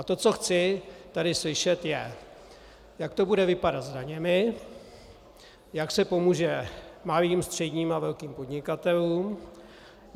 A to, co chci tady slyšet, je: jak to bude vypadat s daněmi; jak se pomůže malým, středním a velkým podnikatelům;